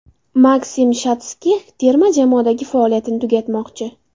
Maksim Shatskix terma jamoadagi faoliyatini tugatmoqchi .